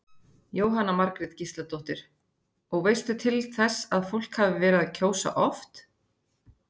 Jóhanna Margrét Gísladóttir: Og veistu til þess að fólk hafi verið að kjósa oft?